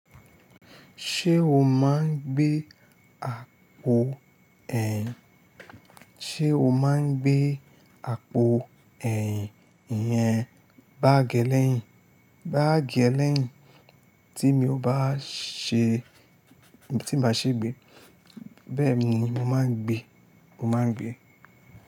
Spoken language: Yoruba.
Ṣé o máa ń gbé àpò ẹ̀yìn, ṣe o máa ń gbé àpò ẹ̀yìn yẹn bág é lẹ́yìn? Bági elẹ́yìn tí mi ò bá ṣe, tí màá ṣe gbé, bẹ́ẹ̀ ni màá ń gbé, mo máa ń gbé.